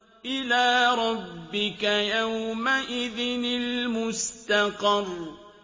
إِلَىٰ رَبِّكَ يَوْمَئِذٍ الْمُسْتَقَرُّ